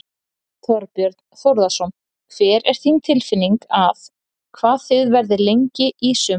Þorbjörn Þórðarson: Hver er þín tilfinning að, hvað þið verðið lengi í sumar?